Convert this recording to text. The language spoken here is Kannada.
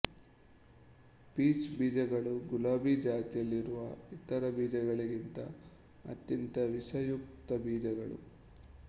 ಪೀಚ್ ಬೀಜಗಳು ಗುಲಾಬಿ ಜಾತಿಯಲ್ಲಿರುವ ಇತರ ಬೀಜಗಳಿಗಿಂತ ಅತ್ಯಂತ ವಿಷಯುಕ್ತ ಬೀಜಗಳಲ್ಲ